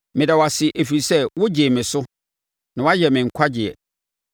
Mɛda wo ase ɛfiri sɛ wogyee me so; na woayɛ me nkwagyeɛ.